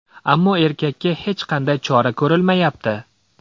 Ammo erkakka hech qanday chora ko‘rilmayapti.